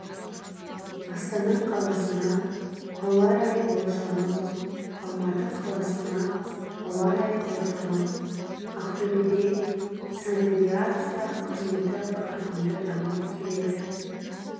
астана қаласына ауа райы болжамы алматы қаласына ауа райы болжамы ақтөбеде санавиация қызметі қарқынды дамып келеді